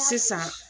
Sisan